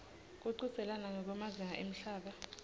kuchudzelana ngekwemazinga emhlaba